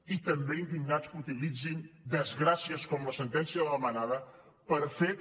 i també indignats que utilitzin desgràcies com la sentència de la manada per fer també